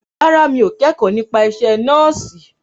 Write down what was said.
Rárá, mi ò kẹ́kọ̀ọ́ nípa isẹ́ nọ́ọ̀sì